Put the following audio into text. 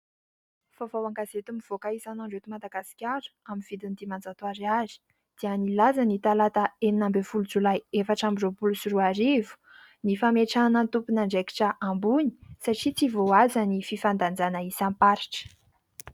Vaovao an- gazety mivoaka isanandro eto Madagasikara amin'ny vidiny dimanjato ariary dia nilaza ny talata enina ambin'ny folo jolay, efatra ambi- roapolo sy roa arivo, ny fametrahana ny tompon' andraikitra ambony satria tsy voahaja ny fifandanjana isam- paritra.